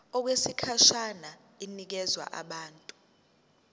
okwesikhashana inikezwa abantu